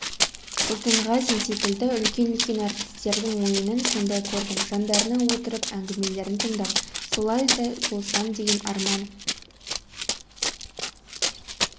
сұлтанғазин секілді үлкен-үлкен әртістердің ойынын сонда көрдім жандарына отырып әңгімелерін тыңдап солардай болсам деген арман